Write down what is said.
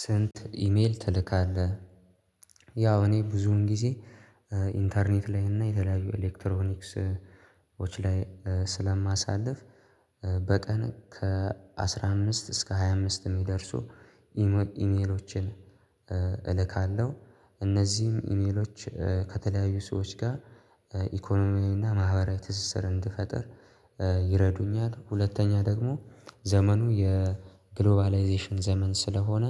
ስንት ኢሜል ትልካለህ? ያው እኔ ብዙን ጊዜ ኢንተርኔት ላይ እና የተለያዩ ኤሌክትሮኒክስ ላይ ስለማሳልፍ በቀን ከአሥራ አምስት እስከ ሃያ አምስት የሚደርሱ ኢሜሎችን እልካለሁ። እነዚህም ኢሜሎች ከተለያዩ ሰዎች ጋር ኢኮኖሚያዊና ማህበራዊ ትስስር እንድፈጥር ይረዱኛል ሁለተኛ ደግሞ ዘመኑ የግሎባላይዜሽን ዘመን ስለሆነ